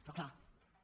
però és clar